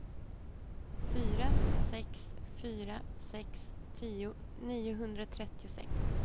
fyra sex fyra sex tio niohundratrettiosex